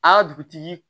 Aa dugutigi